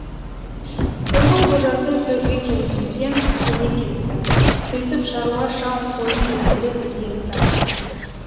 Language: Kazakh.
қойдың қожасы сөзге келместен көне кетті сөйтіп шаруа шал қойын жетелеп ілгері тартты